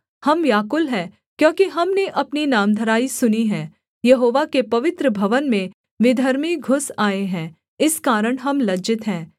हम व्याकुल हैं क्योंकि हमने अपनी नामधराई सुनी है यहोवा के पवित्र भवन में विधर्मी घुस आए हैं इस कारण हम लज्जित हैं